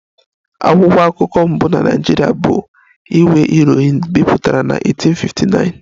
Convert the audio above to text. "Akwụkwọ akụkọ mbụ na Naịjirịa bụ ""Iwe Irohin"" bipụtara na 1859"